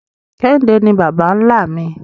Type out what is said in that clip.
Kehinde ni baba-nla mi